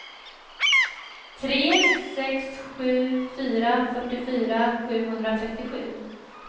tre sex sju fyra fyrtiofyra sjuhundratrettiosju